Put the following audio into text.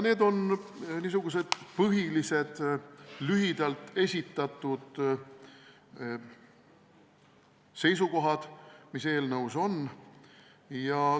Need on lühidalt esitatud põhiseisukohad, mis eelnõus on.